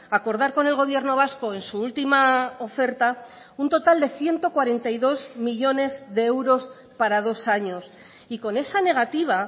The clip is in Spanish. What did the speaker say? acordar con el gobierno vasco en su última oferta un total de ciento cuarenta y dos millónes de euros para dos años y con esa negativa